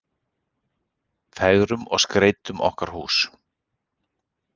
Fegrum og skreytum okkar hús.